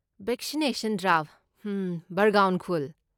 Vaccination drive, ꯍꯝ, ꯕꯔꯒꯥꯎꯟ ꯈꯨꯜ꯫